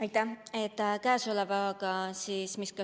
Aitäh!